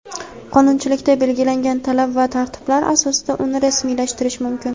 qonunchilikda belgilangani talab va tartiblar asosida uni rasmiylashtirish mumkin.